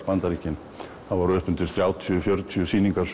Bandaríkin þrjátíu til fjörutíu sýningar